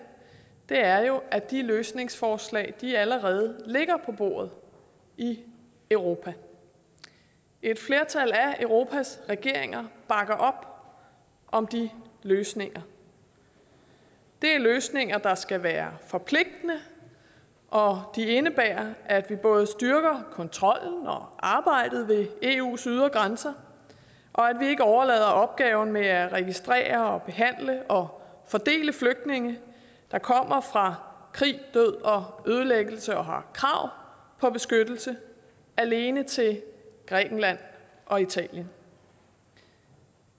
er jo at de løsningsforslag allerede ligger på bordet i europa et flertal af europas regeringer bakker op om de løsninger det er løsninger der skal være forpligtende og de indebærer at vi både styrker kontrollen og arbejdet ved eus ydre grænser og at vi ikke overlader opgaven med at registrere behandle og fordele flygtninge der kommer fra krig død og ødelæggelse og har krav på beskyttelse alene til grækenland og italien